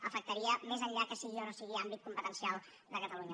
afectaria més enllà que sigui o no sigui àmbit competencial de catalunya